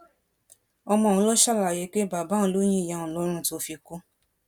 ọmọ ọhún ló ṣàlàyé pé bàbá òun ló yin ìyá òun lọrùn tó fi kú